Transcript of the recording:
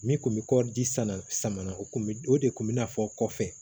Min kun bɛ kɔɔri di san na sama na o tun bɛ o de kun bɛ n'a fɔ kɔfɛ